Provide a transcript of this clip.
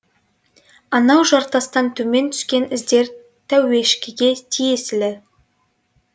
анау жартастан төмен түскен іздер тәуешкіге тиесілі